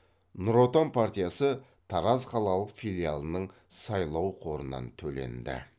нұр отан партиясы тараз қалалық филиалының сайлау қорынан төленді